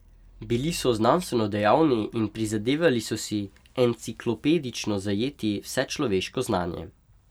Bili so znanstveno dejavni in prizadevali so si enciklopedično zajeti vse človeško znanje.